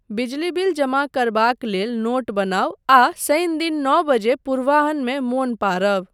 बिजली बिल जमा करबाक लेल नोट बनाउ आ शनि दिन नौ बजे पूर्वाह्नमे मोन पाड़ब।